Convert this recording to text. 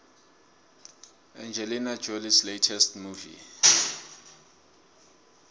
angelina jolies latest movie